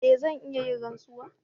E! zan iya yin rantsuwa.